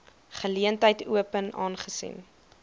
geleentheid open aangesien